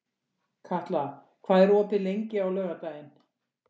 Katla, hvað er opið lengi á laugardaginn?